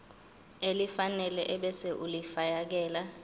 elifanele ebese ulifiakela